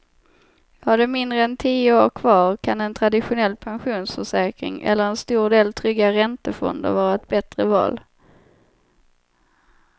Har du mindre än tio år kvar kan en traditionell pensionsförsäkring eller en stor del trygga räntefonder vara ett bättre val.